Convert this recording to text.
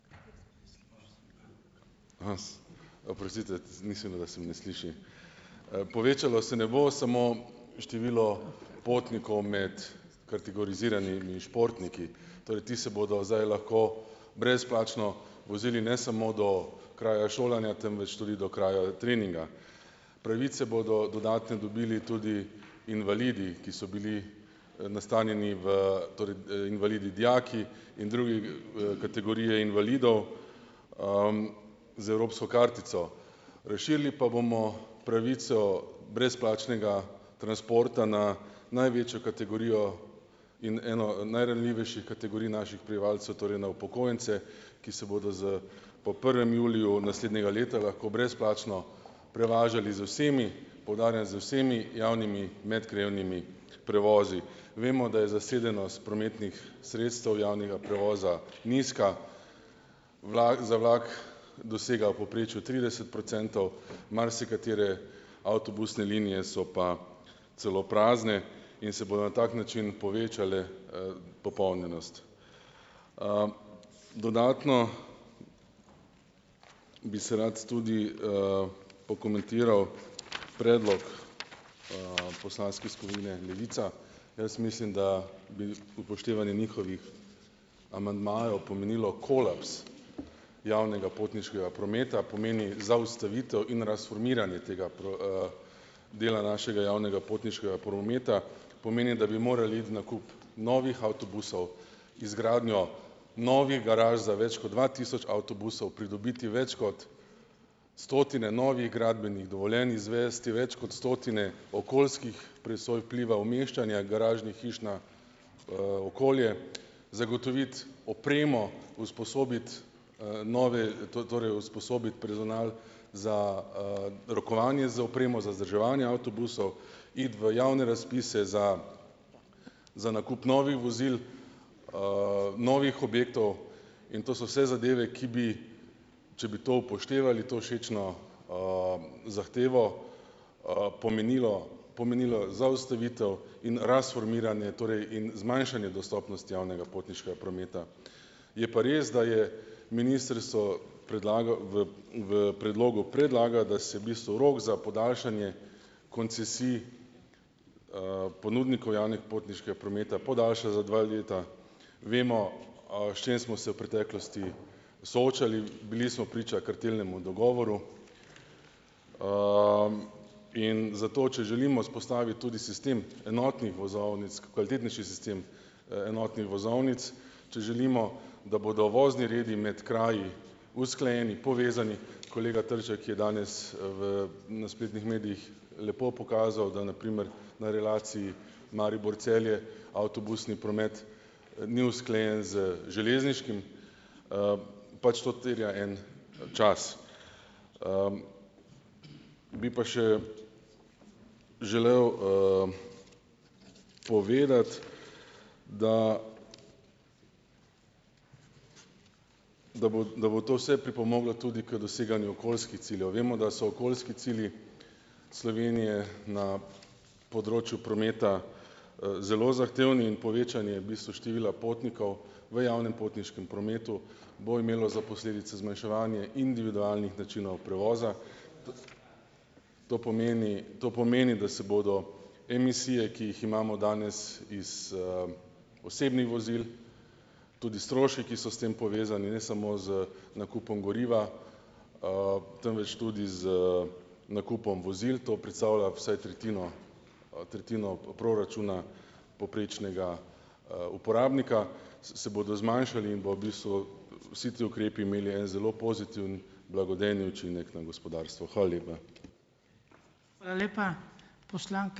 Oprostite, mislil, da se me ne sliši, povečalo se ne bo samo število potnikov med kategoriziranimi športniki, torej ti se bodo zdaj lahko brezplačno vozili ne samo do kraja šolanja, temveč tudi do kraja treninga, pravice bodo dodatne dobili tudi invalidi, ki so bili nastanjeni v torej, invalidi dijaki in druge, kategorije invalidov, z evropsko kartico razširili pa bomo pravico brezplačnega transporta na največjo kategorijo in eno najranljivejših kategorij naših prebivalcev torej na upokojence, ki se bodo z po prvem juliju naslednje leta lahko brezplačno prevažali z vsemi, poudarjam, z vsemi javnimi medkrajevnimi prevozi, vemo, da je zasedenost prometnih sredstev javnega prevoza nizka, za vlak dosega v povprečju trideset procentov, marsikatere avtobusne linije so pa celo prazne in se bo na tak način povečala, popolnjenost, dodatno bi se rad tudi, pokomentiral predlog, poslanske skupine Levica. Jaz mislim, da bi upoštevanje njihovih amandmajev pomenilo kolaps javnega potniškega prometa, pomeni zaustavitev in transformiranje tega dela našega javnega potniškega prometa, pomeni, da bi morali iti nakup novih avtobusov, izgradnjo novih garaž, za več kot dva tisoč avtobusov pridobiti več kot stotine novih gradbenih dovoljenj, izvesti več kot stotine okoljskih presoj vpliva umeščanja garažnih hiš na, okolje, zagotoviti opremo, usposobiti, nove torej usposobiti personal za, rokovanje z opremo za vzdrževanje avtobusov, iti v javne razpise za za nakup novih vozil, novih objektov, in to so se zadeve, ki bi, če bi to upoštevali, to všečno, zahtevo, pomenilo pomenilo zaustavitev in transformiranje torej in zmanjšanje dostopnost javnega potniškega prometa, je pa res, da je ministrstvo predlagalo v v predlogu, predlagam, da se bistvu rok za podaljšanje koncesij, ponudnikov javnih potniškega prometa podaljša za dve leti, vemo, s čim smo se v preteklosti soočali, bili smo priča kartelnemu dogovoru, in zato če želimo vzpostavit tudi sistem enotnih vozovnic, kvalitetnejši sistem, enotnih vozovnic, če želimo, da bodo vozni redi med kraji usklajeni, povezani, kolega Trček je danes, v na spletnih medijih lepo pokazal, da na primer na relaciji Maribor-Celje avtobusni promet ni usklajen z železniškim, pač to tvega en čas, bi pa še želel, povedati, da da bo, da bo to se pripomoglo tudi k doseganju okoljskih ciljev, vemo, da so okoljski cilji Slovenije na področju prometa, zelo zahtevni in povečanje bistvu števila potnikov v javnem potniškem prometu bo imelo za posledice zmanjševanje individualnih načinov prevoza. To pomeni, to pomeni, da se bodo emisije, ki jih imamo danes iz, osebnih vozil, tudi strošek, ki so s tem povezani, ne samo z nakupom goriva, temveč tudi z nakupom vozil, to predstavlja vsaj tretjino tretjino proračuna povprečnega, uporabnika, se bodo zmanjšali in bodo v bistvu vsi ti ukrepi imeli en zelo pozitiven blagodejni učinek na gospodarstvo, hvala lepa.